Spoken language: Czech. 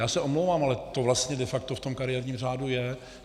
Já se omlouvám, ale to vlastně de facto v tom kariérním řádu je.